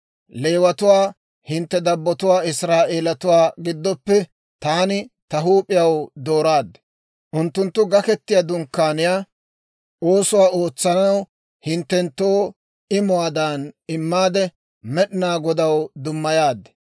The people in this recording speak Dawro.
Leewatuwaa hintte dabbotuwaa Israa'eelatuwaa giddoppe taani ta huup'iyaw dooraad. Unttunttu Gaketiyaa Dunkkaaniyaa oosuwaa ootsanaw hinttenttoo imuwaadan immaade, Med'inaa Godaw dummayaad.